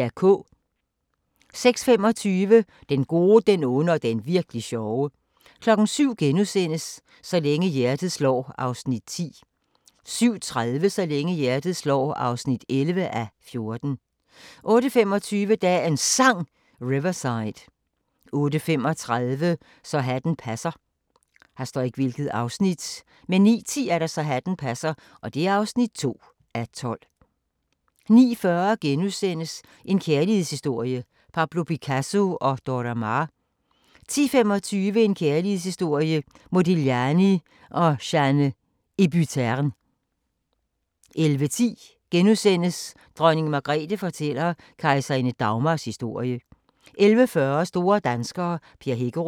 06:25: Den gode, den onde og den Virk'li sjove 07:00: Så længe hjertet slår (10:14)* 07:30: Så længe hjertet slår (11:14) 08:25: Dagens Sang: Riverside 08:35: Så hatten passer 09:10: Så hatten passer (2:12) 09:40: En kærlighedshistorie – Pablo Picasso & Dora Maar * 10:25: En kærlighedshistorie – Modigliani & Jeanne Hébuterne 11:10: Dronning Margrethe fortæller kejserinde Dagmars historie * 11:40: Store danskere - Per Hækkerup